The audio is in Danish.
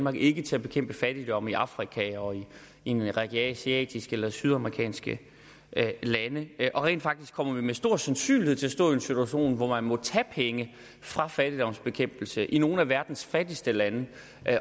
og ikke til at bekæmpe fattigdom i afrika og en række asiatiske eller sydamerikanske lande rent faktisk kommer vi med stor sandsynlighed til at stå i en situation hvor man må tage penge fra fattigdomsbekæmpelse i nogle af verdens fattigste lande